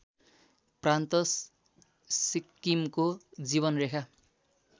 प्रान्त सिक्किमको जीवनरेखा